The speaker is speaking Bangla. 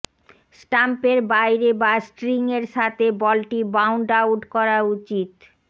স্টাম্পের বাইরে বা স্ট্রিংয়ের সাথে বলটি বাউন্ড আউট করা উচিত